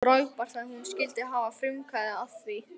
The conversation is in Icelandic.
Frábært að hún skyldi hafa frumkvæði að því!